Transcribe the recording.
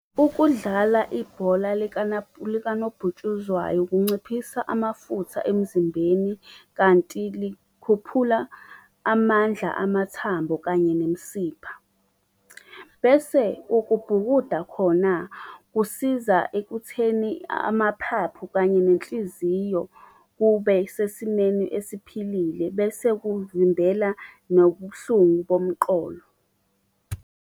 Ukudlala ibhola likanobhutshuzwayo kunciphisa amafutha emzimbeni kanti likhuphula amandla amathambo kanye nemisipha. Bese ukubhukuda khona, kusiza ekutheni amaphaphu kanye nenhliziyo kube sesimeni esiphilile bese kuvimbela nobuhlungu bomqolo.